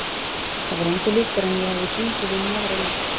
Það var engu líkara en að ég hefði gengið inn í aðra vídd.